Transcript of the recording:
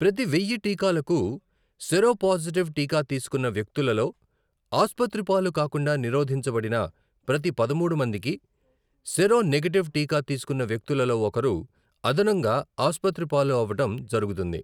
ప్రతి వెయ్య టీకాలకు, సెరోపాజిటివ్ టీకా తీసుకున్న వ్యక్తులలో ఆసుపత్రిపాలు కాకుండా నిరోధించబడిన ప్రతి పదమూడు మందికి, సెరోనెగేటివ్ టీకా తీసుకున్న వ్యకులలో ఒకరు అదనంగా ఆసుపత్రిపాలు అవ్వడం జరుగుతుంది.